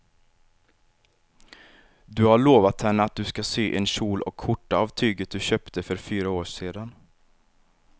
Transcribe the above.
Du har lovat henne att du ska sy en kjol och skjorta av tyget du köpte för fyra år sedan.